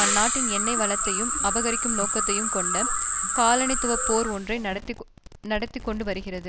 அந்நாட்டின் எண்ணெய் வளத்தையும் அபகரிக்கும் நோக்கத்தையும் கொண்ட காலனித்துவ போர் ஒன்றை நடத்தி கொண்டு வருகிறது